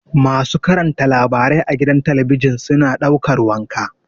Masu karanta labarai a gida talabijin suna ɗaukar wanka.